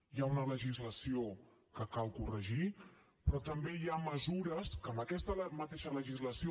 hi ha una legislació que cal corregir però també hi ha mesures que amb aquesta mateixa legislació